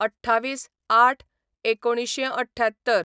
२४/०८/१९७८